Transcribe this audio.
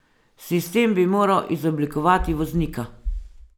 Sistem bi moral izoblikovati voznika.